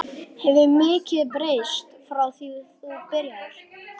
Elísabet Inga Sigurðardóttir: En neytendur?